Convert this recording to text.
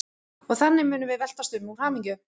Og þannig munum við veltast um úr hamingju.